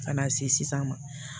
Ka na se sisan ma